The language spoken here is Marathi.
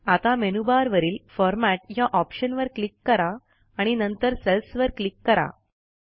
आता मेनूबार वरील फॉरमॅट या ऑप्शनवर क्लिक करा आणि नंतर सेल्सवर क्लिक करा